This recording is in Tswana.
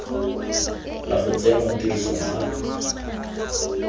la go tsenngwa tirisong ga